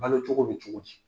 Balo cogo bɛ cogo di?